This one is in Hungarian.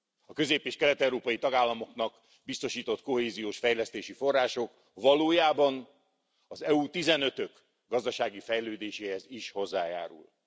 A közép és kelet európai tagállamoknak biztosított kohéziós fejlesztési források valójában az EU 15 ök gazdasági fejlődéséhez is hozzájárulnak.